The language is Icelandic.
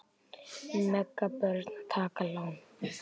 Mega börn taka lán?